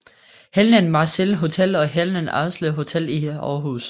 Helnan Marselis Hotel og Helnan Aarslev Hotel i Aarhus